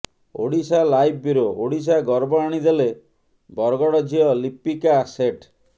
Odisha live bureau Odisha ଗର୍ବ ଆଣିଦେଲେ ବରଗଡ଼ ଝିଅ ଲିପିକା ସେଠ୍